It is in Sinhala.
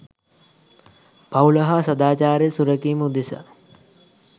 පවුල හා සදාචාරය සුරැකීම උදෙසා